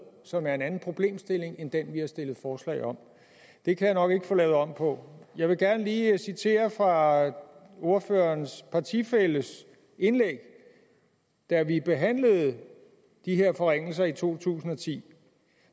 som er en anden problemstilling end den vi har stillet forslag om det kan jeg nok ikke få lavet om på jeg vil gerne lige citere fra ordførerens partifælles indlæg da vi behandlede de her forringelser i to tusind og ti